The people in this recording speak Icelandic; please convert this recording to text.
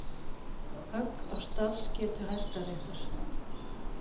Högg á starfsgetu Hæstaréttar